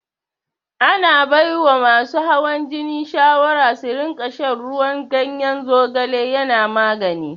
Ana baiwa masu hawan jini shawara su rinƙa shan ruwan ganyen zogale yana magani.